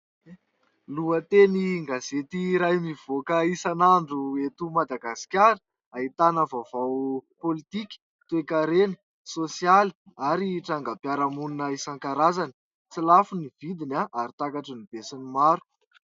Lohatenin-gazety iray mivoaka isan'andro eto Madagasikara. Ahitana vaovao politika, toekarena, sosialy ary trangam-piarahamonina isankarazany. Tsy lafo ny vidiny ary takatrin'ny besinimaro.